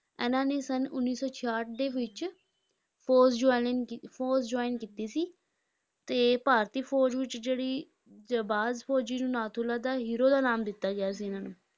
ਇਹਨਾਂ ਨੇ ਸੰਨ ਉੱਨੀ ਸੌ ਛਿਆਹਠ ਦੇ ਵਿਚ ਫ਼ੌਜ਼ joining ਕੀ~ ਫ਼ੌਜ਼ join ਕੀਤੀ ਸੀ, ਤੇ ਭਾਰਤੀ ਫ਼ੌਜ਼ ਵਿੱਚ ਜਿਹੜੀ ਜਾਬਾਜ਼ ਫ਼ੌਜ਼ੀ ਨੂੰ ਨਾਥੁਲਾ ਦਾ hero ਦਾ ਨਾਮ ਦਿੱਤਾ ਗਿਆ ਸੀ ਇਹਨਾਂ ਨੂੰ,